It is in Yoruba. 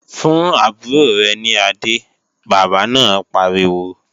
Fún àbúrò rẹ̀ ní adé, bàbá náà pariwo!